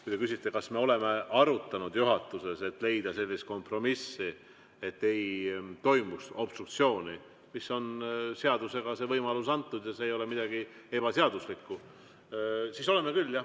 Kui te küsite, kas me oleme arutanud juhatuses, et leida sellist kompromissi, et ei toimuks obstruktsiooni – seadusega on see võimalus antud ja see ei ole midagi ebaseaduslikku –, siis oleme küll, jah.